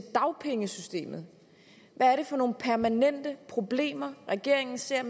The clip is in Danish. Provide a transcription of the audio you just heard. dagpengesystemet hvad er det for nogle permanente problemer regeringen ser